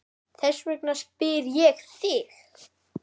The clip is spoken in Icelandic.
Þess vegna spyr ég þig.